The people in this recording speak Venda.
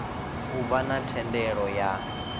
u vha na thendelo ya